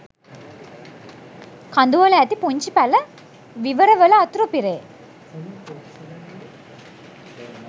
කඳුවල ඇති පුංචි පැල විවරවල වතුර පිරේ.